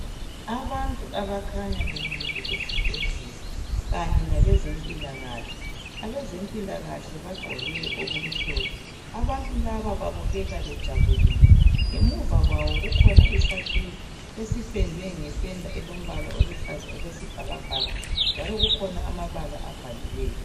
Abantu abakhanya bemile esibhedlela kanye labezimpilakahle. Abezempilakahle bagqoke okumhlophe abantu laba babukeka bejabulile ngemuva kwabo kukhona isakhiwo esipendwe ngependa eluhlaza okwezibbakabhaka njalo kulamabala abhaliweyo.